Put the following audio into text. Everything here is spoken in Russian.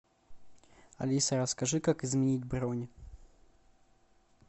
алиса расскажи как изменить бронь